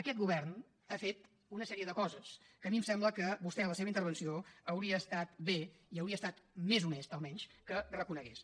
aquest govern ha fet una sèrie de coses que a mi em sembla que vostè en la seva intervenció hauria estat bé i hauria estat més honest almenys que reconegués